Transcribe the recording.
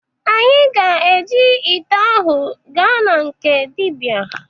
Anyị ga-eji ite ahụ gaa na nke dịbịa.